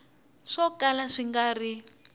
swo kala swi nga ri